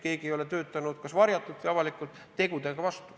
Keegi ei ole töötanud kas varjatult või avalikult tegudega vastu.